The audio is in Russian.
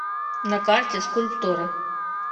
на карте скульптура